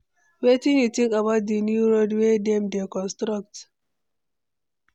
Wetin you think about di new road wey dem dey construct?